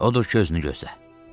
Odur ki, özünü gözlə.